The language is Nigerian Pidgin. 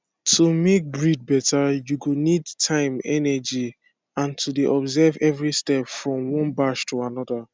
to make breed better you go need time energy and to dey observe every step from one batch to another